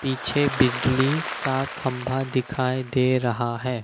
पीछे बिजली का खंभा दिखाई दे रहा है।